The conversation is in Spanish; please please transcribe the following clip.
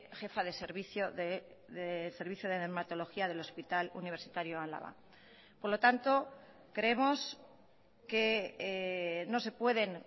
jefa de servicio de servicio de dermatología del hospital universitario álava por lo tanto creemos que no se pueden